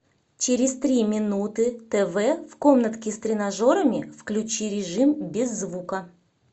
через три минуты тв в комнатке с тренажерами включи режим без звука